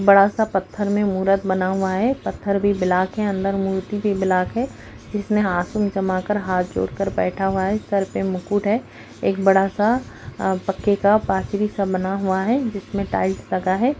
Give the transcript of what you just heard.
बड़ा सा पथर में मूरत बना हुआ है पथर भी ब्लाक है अंदर मूर्ति भी ब्लाक है जिसमें आसून जमा कर हाथ जोड़ कर बैठा हुआ है सर पे मुकुट है एक बड़ा सा पक्के का पाचरी सा बना हुआ है जिसमें टाइल्स लगा है।